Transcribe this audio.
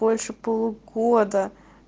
больше полугода